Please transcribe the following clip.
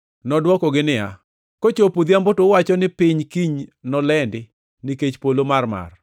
Nodwokogi niya, “Kochopo odhiambo to uwacho ni ‘piny kiny nolendi nikech polo mamarmar,’